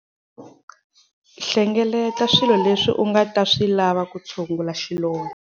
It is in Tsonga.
Hlengeleta swilo leswi u nga ta swi lava ku tshungula xilondzo.